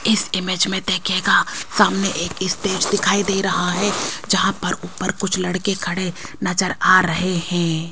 इस इमेज में देखिएगा सामने एक स्टेज दिखाई दे रहा है जहां पर ऊपर कुछ लड़के खड़े नजर आ रहे हैं।